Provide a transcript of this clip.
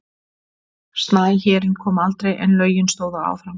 Snæhérinn kom aldrei en lögin stóðu áfram.